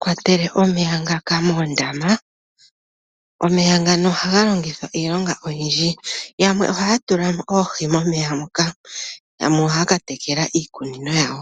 kwatele omeya ngaka moondama. Omeya ngano ohaga longithwa iilonga oyindji, yamwe ohaya tula mo oohi momeya muka, yamwe ohaya katekela iikunino yawo.